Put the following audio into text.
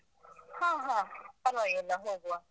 ಹ ಹ. ಪರ್ವಾಗಿಲ್ಲ, ಹೋಗುವ.